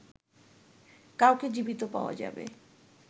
কাউকে জীবিত পাওয়া যাবে